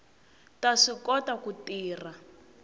ta swi kota ku tirha